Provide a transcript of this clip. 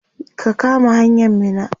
ka kama hanyan Minna!